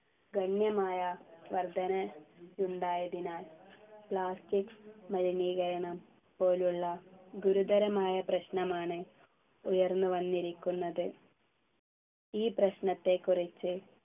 ഗണ്യമായ വർധന യുണ്ടായതിനാൽ plastic മലിനീകരണം പോലുള്ള ഗുരുതരമായ പ്രശ്നമാണ് ഉയർന്നു വന്നിരിക്കുന്നത് ഈ പ്രശ്നത്തെക്കുറിച്ചു